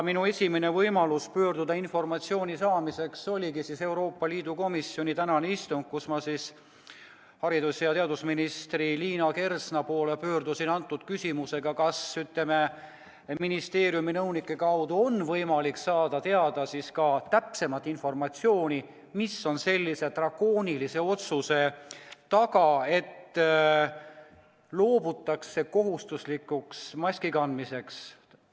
Minu esimene võimalus informatsiooni saada oli tänane Euroopa Liidu komisjoni istung, kus ma pöördusin haridus- ja teadusminister Liina Kersna poole järgmise küsimusega: kas ministeeriumi nõunike kaudu on võimalik saada täpsemat informatsiooni, mis on sellise drakoonilise otsuse taga, et loobutakse kohustuslikust maski kandmisest?